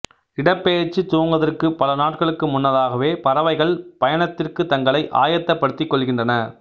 இடப்பெயர்ச்சி துவங்குவதற்கு பல நாட்களுக்கு முன்னதாகவே பறவைகள் பயணத்திற்குத் தங்களை ஆயத்தப்படுத்திக் கொள்கின்றன